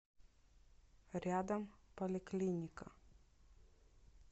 рядом поликлиника